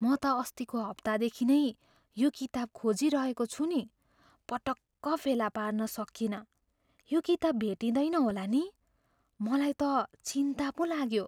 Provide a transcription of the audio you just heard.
म त अस्तिको हप्तादेखि नै यो किताब खोजिरहेको छु नि। पटक्क फेला पार्न सकिएन। यो किताब भेटिँदैन होला नि? मलाई त चिन्ता पो लाग्यो।